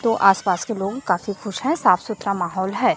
तो आसपास के लोग काफी खुश हैं साफ सुथरा माहौल है।